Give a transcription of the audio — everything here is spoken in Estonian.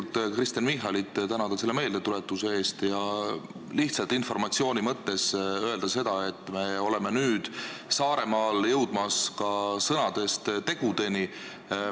Ma tahan Kristen Michalit tänada selle meeldetuletuse eest ja lihtsalt informatsiooni mõttes öelda seda, et me oleme nüüd Saaremaal jõudmas ka sõnadest tegudeni.